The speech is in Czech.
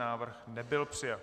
Návrh nebyl přijat.